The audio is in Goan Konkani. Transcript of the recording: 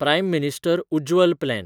prime minister Ujjwal plan